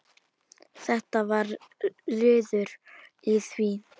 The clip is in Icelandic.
Þetta var liður í því.